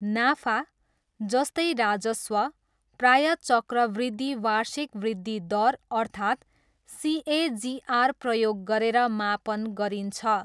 नाफा, जस्तै राजस्व, प्रायः चक्रवृद्धि वार्षिक वृद्धि दर अर्थात् सिएजिआर प्रयोग गरेर मापन गरिन्छ।